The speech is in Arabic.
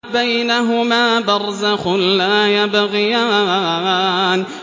بَيْنَهُمَا بَرْزَخٌ لَّا يَبْغِيَانِ